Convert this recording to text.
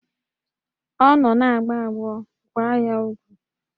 Ọ nọ na-agbọ agbọ, gbaa ya ọgwụ!